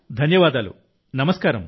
ధన్యవాదాలు నమస్కారం